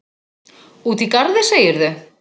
Úti í garði, segirðu?